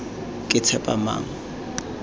ketshepamang